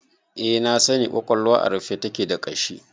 Eh na sani, ƙwaƙwalwa a rufe take da ƙashi